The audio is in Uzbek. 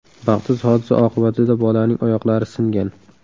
Baxtsiz hodisa oqibatida bolaning oyoqlari singan.